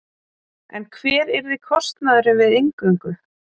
En hver yrði kostnaðurinn við inngöngu?